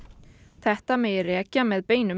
þetta megi rekja með beinum